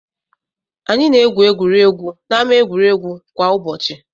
Anyị na-egwu egwuregwu n'ámá egwuregwu kwa ụbọchị.